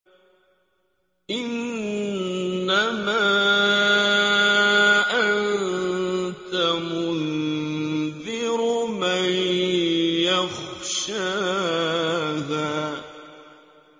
إِنَّمَا أَنتَ مُنذِرُ مَن يَخْشَاهَا